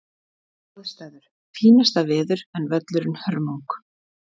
Aðstæður: Fínasta veður en völlurinn hörmung.